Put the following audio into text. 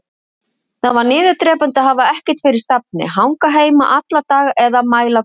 Það var niðurdrepandi að hafa ekkert fyrir stafni, hanga heima alla daga eða mæla göturnar.